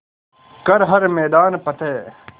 कर हर मैदान फ़तेह